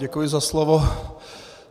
Děkuji za slovo.